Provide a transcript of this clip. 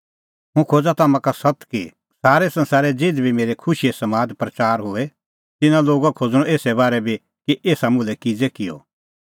हुंह खोज़ा तम्हां का सत्त कि सारै संसारै ज़िधी बी मेरै बारै खुशीओ समाद प्रच़ार होए तिन्नां लोगा खोज़णअ एसरै बारै बी कि एसा मुल्है किज़ै किअ